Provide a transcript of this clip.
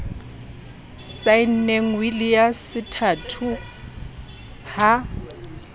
saenneng wili ya sethato ha